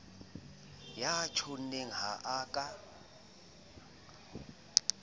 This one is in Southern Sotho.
ya tjhonneng ha a ka